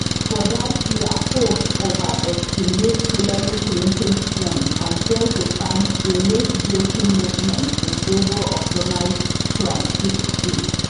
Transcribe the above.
for dat year polls overestimate hillary clinton strength and fail to find say latebreaking movement in favour of donald trump fit dey